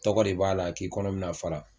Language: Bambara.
Tɔgɔ de b'a la k'i kɔnɔ bina fara.